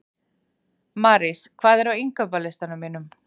Marís, hvað er á innkaupalistanum mínum?